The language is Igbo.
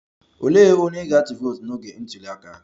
Olee onye ị ga-atụ vootu n'oge ntuli aka?